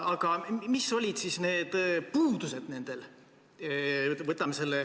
Aga mis olid nende puudused?